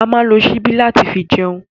A ma ń lo ṣíbí láti fi jẹun